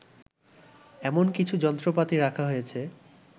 এমন কিছু যন্ত্রপাতি রাখা হয়েছে